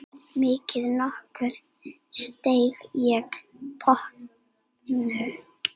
Maður nokkur steig í pontu.